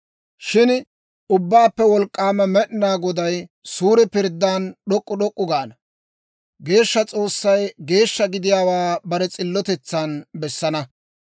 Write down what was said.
Shin Ubbaappe Wolk'k'aama Med'inaa Goday, suure pirddan d'ok'k'u d'ok'k'u gaana; geeshsha S'oossay geeshsha gidiyaawaa bare s'illotetsan bessana.